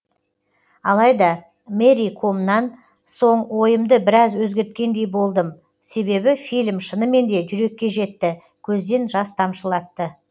алайда мэри комнан соң ойымды біраз өзгерткендей болдым себебі фильм шынымен де жүрекке жетті көзден жас тамшылатты